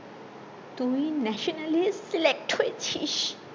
তুই ন্যাশনালে select হয়েছিস